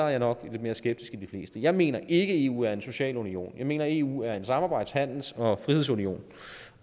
jeg nok lidt mere skeptisk end de fleste jeg mener ikke at eu er en social union jeg mener eu er en samarbejds handels og frihedsunion